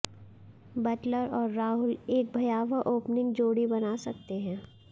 Buttler और राहुल एक भयावह ओपनिंग जोड़ी बना सकते हैं